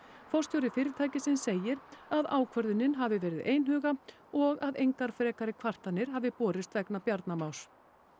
forstjóri fyrirtækisins segir að ákvörðunin hafi verið einhuga og að engar frekari kvartanir hafi borist vegna Bjarna Más